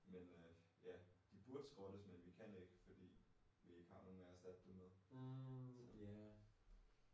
Men øh ja de burde skrottes men vi kan ikke fordi vi ikke har nogen at erstatte det med så